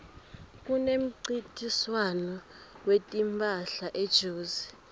kunemncintiswano wetimphahla ejozi